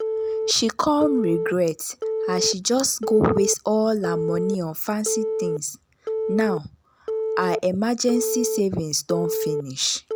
she come regret as she just go waste all her money on fancy things now her emergency savings don finish.